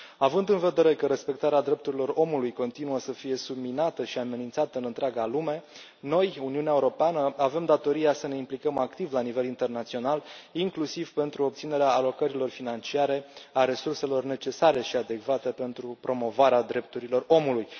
Având în vedere că respectarea drepturilor omului continuă să fie subminată și amenințată în întreaga lume, noi, Uniunea Europeană, avem datoria să ne implicăm activ la nivel internațional, inclusiv pentru obținerea alocărilor financiare, a resurselor necesare și adecvate pentru promovarea drepturilor omului.